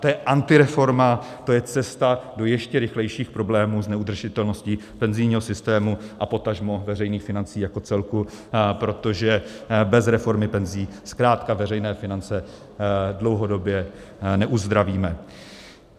To je antireforma, to je cesta do ještě rychlejších problémů s neudržitelností penzijního systému a potažmo veřejných financí jako celku, protože bez reformy penzí zkrátka veřejné finance dlouhodobě neuzdravíme.